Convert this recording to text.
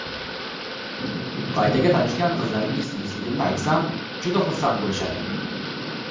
Qaytaga tanishgan qizlarimga stilistligimni aytsam, juda xursand bo‘lishadi.